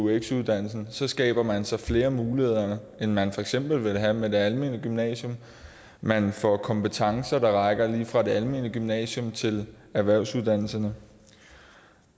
eux uddannelsen skaber man så flere muligheder end man for eksempel vil have med det almene gymnasium man får kompetencer der rækker lige fra det almene gymnasium til erhvervsuddannelserne